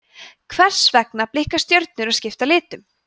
hvers vegna blikka stjörnur og skipta litum